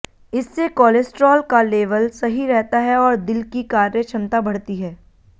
इससे कोलेस्ट्रॉल का लेवल सही रहता है और दिल की कार्य क्षमता बढ़ती है